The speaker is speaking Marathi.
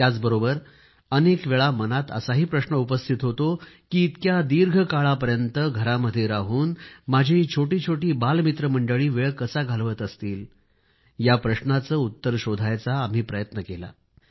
त्याचबरोबर अनेक वेळा मनात असाही प्रश्न उपस्थित होतो की इतक्या दीर्घ काळापर्यंत घरामध्ये राहून माझी छोटीछोटी बालमित्रमंडळी वेळ कसा घालवत असतील या प्रश्नाला उत्तर शोधायचा प्रयत्न केला आहे